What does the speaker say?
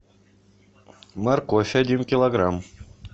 морковь один килограмм